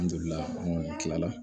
An jolila an kɔni kila la